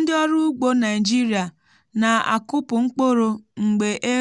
ndị ọrụ ugbo naijiria na-akụpụ mkpụrụ mgbe e